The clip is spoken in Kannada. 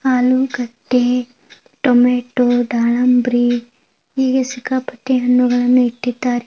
ಆಲೂಗಡ್ಡೆ ಟೊಮೇಟೊ ದಾಳಂಬಿರಿ ಹೀಗೆ ಸಿಕ್ಕಾಪಟ್ಟೆ ಹಣ್ಣುಗಳನ್ನೂ ಇಟ್ಟಿದಾರೆ.